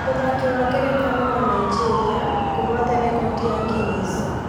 Mũthaki wa ngerekano wa Naijĩria kuhota rekodi ya Guiness